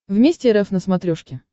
вместе рф на смотрешке